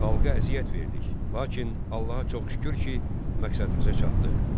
Xalqa əziyyət verdik, lakin Allaha çox şükür ki, məqsədimizə çatdıq.